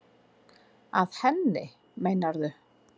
Að henni, meinarðu?